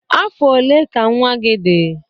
Afọ ole ka nwa gị dị?